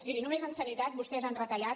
miri només en sanitat vostès han retallat